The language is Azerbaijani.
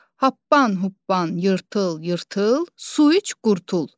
Happan huppan yırtıl-yırtıl, su iç qurtul.